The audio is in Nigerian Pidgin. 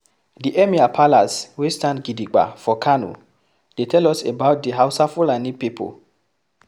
The Emir palace wey stand gidibga for Kano, dey tell us about the Hausa/Fulani pipo